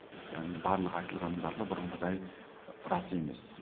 яғни барлық айтылғанның барлығы бұрынғыдай рас емес